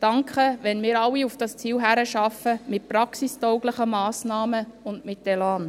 Danke, wenn wir alle auf dieses Ziel hinarbeiten, mit praxistauglichen Massnahmen und mit Elan!